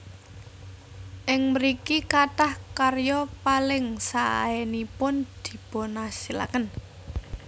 Ing mriki kathah karya paling saénipun dipunasilaken